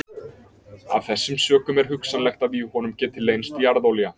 Af þessum sökum er hugsanlegt að í honum geti leynst jarðolía.